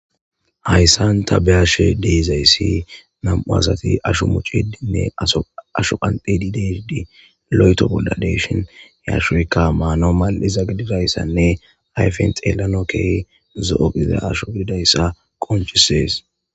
Haysan ta be'ishe dizaysi nam'u asati aho qanxidine asho muxide loyto bola de'ishin he ashoyka manaw mal'za gidiraysane ayfen xelanaw kehi zo'o gidida asho gigidaysa qonc'ses.